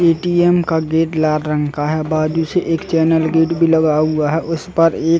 ATM का gate लाल रंग का है। बाजू से एक चैनल गेट भी लगा हुआ है। उसपर एक--